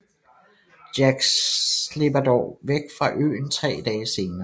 Jack slipper dog væk fra øen 3 dage senere